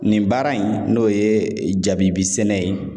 Nin baara in n'o ye jabi sɛnɛ ye.